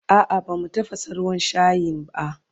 A'a bamu tafasa ruwan shayin a